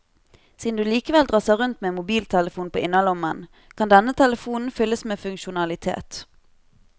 Siden du likevel drasser rundt med en mobiltelefon på innerlommen, kan denne telefonen fylles med funksjonalitet.